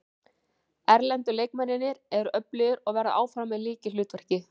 Erlendu leikmennirnir eru öflugir og verða áfram í lykilhlutverki.